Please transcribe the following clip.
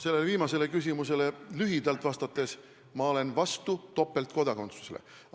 Sellele viimasele küsimusele lühidalt vastates: ma olen topeltkodakondsuse vastu.